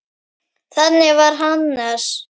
Þannig var Hannes.